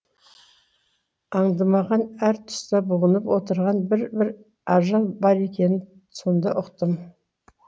аңдымаған әр тұста бұғынып отырған бір бір ажал бар екенін сонда ұқтым